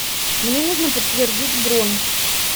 мне нужно подтвердить бронь